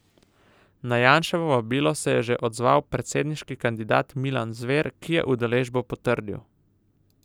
Na Janševo vabilo se je že odzval predsedniški kandidat Milan Zver, ki je udeležbo potrdil.